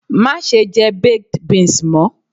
Mase je baked beans mo